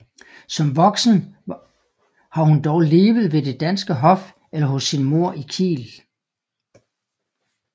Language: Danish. Som voksen har hun dog levet ved det danske hof eller hos sin mor i Kiel